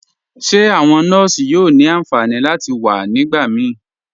Ṣe awọn nọọ̀ṣì yóò ni ánfànì láti wà nígbàmí?